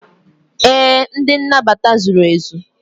ee, ndị nnabata zuru ezu.